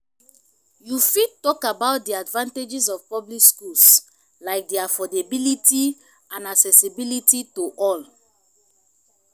you fit talk about di advantages of public schools like di affordability and accessibility to all.